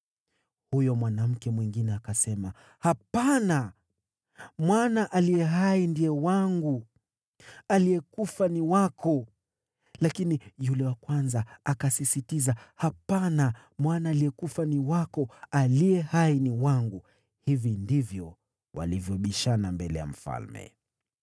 Huyo mwanamke mwingine akasema, “Hapana! Mwana aliye hai ndiye wangu, aliyekufa ni wako.” Lakini yule wa kwanza akasisitiza, “Hapana! Mwana aliyekufa ni wako, aliye hai ni wangu.” Hivi ndivyo walivyobishana mbele ya mfalme.